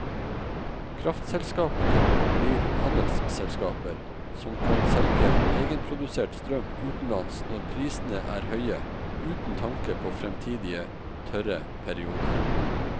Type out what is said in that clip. Kraftselskapene blir handelsselskaper som kan selge egenprodusert strøm utenlands når prisene er høye uten tanke på fremtidige tørre perioder.